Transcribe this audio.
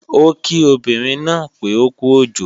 Ó kí obìnrin náà pé ókú òjò